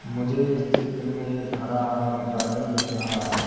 मुझे इस चित्र में एक हरा हरा गार्डन दिख रहा है।